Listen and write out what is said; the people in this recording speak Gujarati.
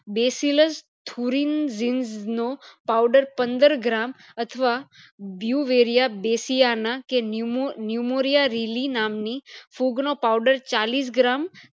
બેસીલાસ થુરીંગ રીઝ નો powder પંદર gram અથવા બ્યુવેરીયા બેસીયાના કે ન્યુંમોરીયારલી નામ ની ફૂગ નો powder ચાલીસ gram